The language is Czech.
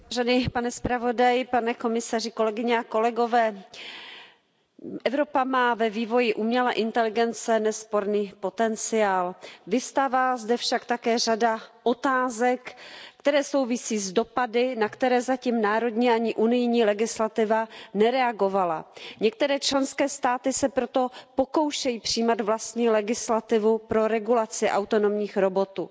Pane předsedající, pane zpravodaji, pane komisaři, Evropa má ve vývoji umělé inteligence nesporný potenciál. Vyvstává zde však také řada otázek, které souvisí s dopady, na které zatím národní ani unijní legislativa nereagovala. Některé členské státy se proto pokoušejí přijímat vlastní legislativu pro regulaci autonomních robotů.